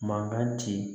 Mankan ci